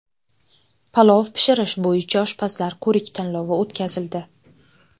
Palov pishirish bo‘yicha oshpazlar ko‘rik-tanlovi o‘tkazildi.